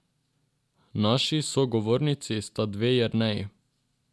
Naši sogovornici sta dve Jerneji.